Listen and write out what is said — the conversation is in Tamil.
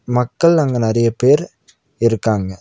மக்கள் அங்க நறைய பேர் இருக்காங்க.